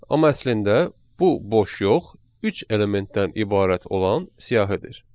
Amma əslində bu boş yox, üç elementdən ibarət olan siyahıdır.